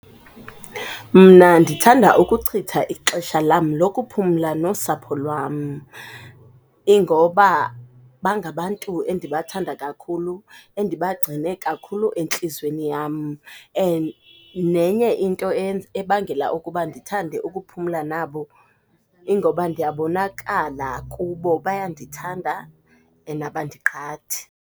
Mna ndithanda ukuchitha ixesha lam lokuphumla nosapho lwam. Ingoba bangabantu endibathanda kakhulu, endibagcine kakhulu entliziyweni yam. And nenye into eyenza ebangela ukuba ndithande ukuphumla nabo, ingoba ndiyabonakala kubo, bayandithanda and abandiqhathi.